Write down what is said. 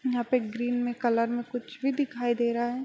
यहां पे ग्रीन में कलर में कुछ भी दिखाई दे रहा है।